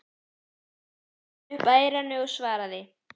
Bar símann upp að eyranu og svaraði